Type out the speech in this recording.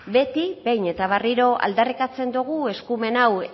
beti behin eta berriro aldarrikatzen dugu eskumen hau